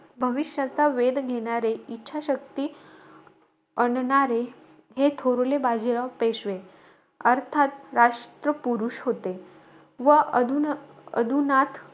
भविष्याचा वेध घेणारे, इच्छाशक्ती अणणारे हे थोरले बाजीराव पेशवे, अर्थात राष्ट्रपुरुष होते. व अधु अधुनाथ,